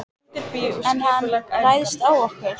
En ef hann ræðst á okkur?